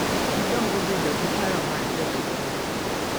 Gidongo bedo gi paro mar bedo thuolo